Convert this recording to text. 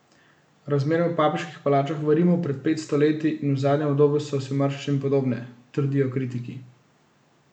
Razmere v papeških palačah v Rimu pred pet sto leti in v zadnjem obdobju so si v marsičem podobne, trdijo kritiki.